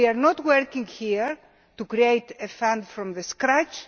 We are not working here to create a fund from scratch.